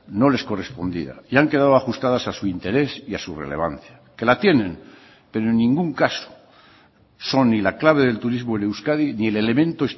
no les correspondía y han quedado ajustadas a su interés y a su relevancia que la tienen pero en ningún caso son ni la clave del turismo en euskadi ni el elemento